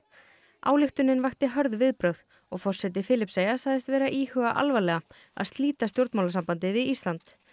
ályktunin vakti hörð viðbrögð og forseti Filippseyja sagðist vera að íhuga alvarlega að slíta stjórnmálasambandi við Ísland